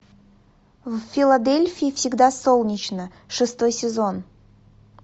в филадельфии всегда солнечно шестой сезон